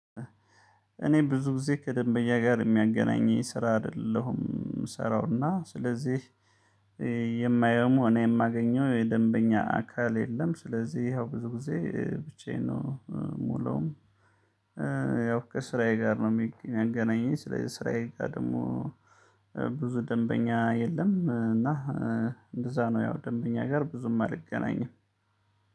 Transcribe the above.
እኔ ብዙ ጊዜ ከደንበኛ ጋር የሚያገናኘኝ ስራ አይደለሁም የምሰራውና ስለዚህ የማየውም እኔ የማገኘው የደንበኛ አካል የለም። ስለዚህ ይኸው ብዙ ጊዜ ብቻዬን ነው የምውለው። ያው ከስራዬ ጋር ነው የሚያገናኘኝ ስለዚህ ስራዬ ጋር ደግሞ ብዙ ደንበኛ የለም። እና እንደዛ ነው ያው ደንበኛ ጋር ብዙም አልገናኝም